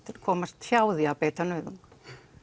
komast hjá því að beita nauðung